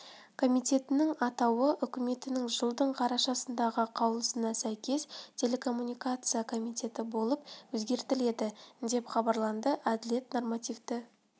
комитетінің атауы үкіметінің жылдың қарашасындағы қаулысына сәйкес телекоммуникация комитеті болып өзгертіледі деп хабарланды әділет нормативті